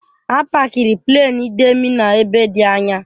A pakiri Pleenị Demi n'ebe dị anya.